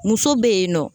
Muso bɛ yen nɔ